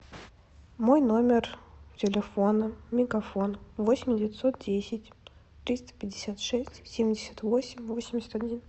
мой номер телефона мегафон восемь девятьсот десять триста пятьдесят шесть семьдесят восемь восемьдесят один